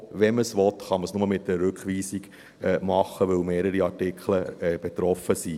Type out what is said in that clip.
Wenn man das tun will, kann man es nur mit der Rückweisung machen, weil mehrere Artikel betroffen sind.